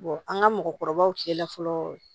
an ka mɔgɔkɔrɔbaw cɛla fɔlɔ